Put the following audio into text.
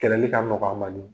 Kɛlɛli ka nɔgɔ a man ni